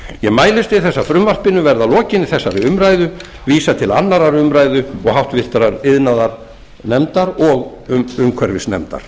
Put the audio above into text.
ég mælist til þess að frumvarpinu verði að lokinni þessari umræðu vísað til annarrar umræðu og háttvirtur iðnaðarnefndar og umhverfisnefndar